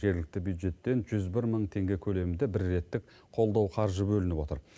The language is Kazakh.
жергілікті бюджеттен жүз бір мың теңге көлемінде бір реттік қолдау қаржы бөлініп отыр